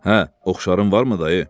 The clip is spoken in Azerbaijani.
Hə, oxşarım varmı dayı?